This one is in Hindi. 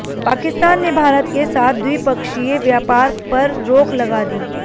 पाकिस्तान ने भारत के साथ द्विपक्षीय व्यापार पर रोक लगा दी